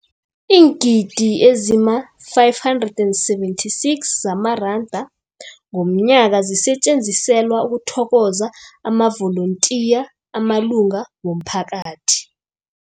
Iingidi ezima-576 zamaranda ngomnyaka zisetjenziselwa ukuthokoza amavolontiya amalunga womphakathi.